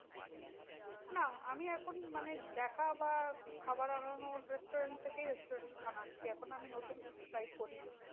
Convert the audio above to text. না আমি এখন মানে দেখা বা খাবার আনানোর restaurant থেকেই restaurant আনাচ্ছি। এখন আমি নতুন কিছু try করি না।